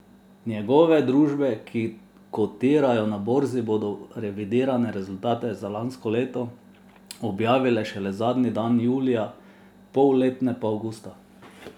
Njegove družbe, ki kotirajo na borzi, bodo revidirane rezultate za lansko leto objavile šele zadnji dan julija, polletne pa avgusta.